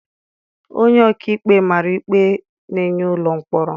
Onye ọkaikpe mara ikpe na-enye ụlọ mkpọrọ.